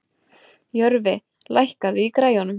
Jörfi, lækkaðu í græjunum.